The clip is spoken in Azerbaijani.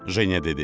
Jenya dedi.